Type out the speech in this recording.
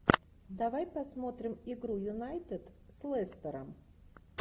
давай посмотрим игру юнайтед с лестером